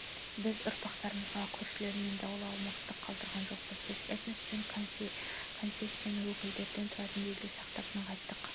біз ұрпақтарымызға көршілермен даулы аумақтар қалдырған жоқпыз біз этнос пен конфессияның өкілдері тұратын елде сақтап нығайттық